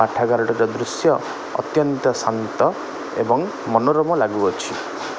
ପାଠାଗାରଟିର ଦୃଶ୍ୟ ଅତ୍ୟନ୍ତ ଶାନ୍ତ ଏବଂ ମନୋରମ ଲାଗୁଅଛି।